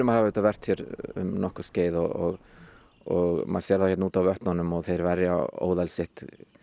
hafa auðvitað verpt hérna um nokkurt skeið og og maður sér þá hérna úti á vötnunum og þeir verja óðal sitt